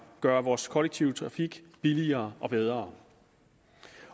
gøre vores kollektive trafik billigere og bedre